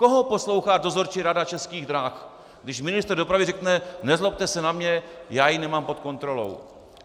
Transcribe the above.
Koho poslouchá dozorčí rada Českých drah, když ministr dopravy řekne "nezlobte se na mě, já ji nemám pod kontrolou"?